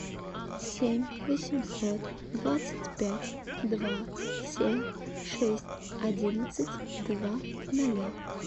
семь восемьсот двадцать пять два семь шесть одиннадцать два ноля